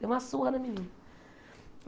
Deu uma surra na menina.